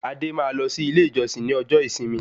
Adé máa lọ sí ilé ìjọsìn ní ọjọ́ ìsinmi